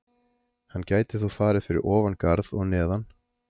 Hann gæti þó farið fyrir ofan garð og neðan.